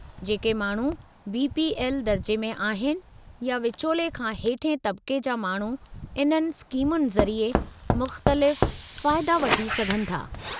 जेके माण्हू बी.पी.एल. दर्जे में आहिनि, या विचोले खां हेठिएं तबक़े जा माण्हू इन्हनि स्कीमुनि ज़रिए मुख़्तलिफ़ फ़ाइदा वठी सघनि था।